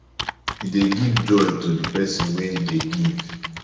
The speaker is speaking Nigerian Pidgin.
e dey give joy to the person wey dey give